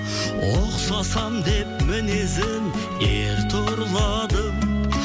ұқсасам деп мінезің ер тұрладым